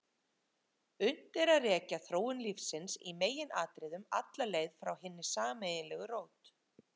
Unnt er að rekja þróun lífsins í meginatriðum alla leið frá hinni sameiginlegu rót.